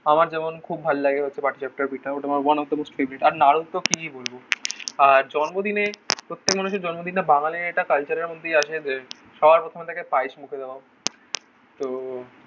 আমার যেমন খুব ভালো লাগে হচ্ছে পাটি সাপটার পিটা. ওটা আমার one of the most favourite. আর নাড়ুর তো কী বলবো. আর জন্মদিনে প্রত্যেক মানুষের জন্মদিনটা বাঙালির এটা কালচারের মধ্যেই আছে সবার প্রথমে তাকে প্রায়েস মুখে দেওয়া তো